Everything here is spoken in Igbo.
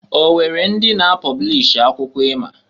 O nwere ndị na-apọblish akwụkwọ ima?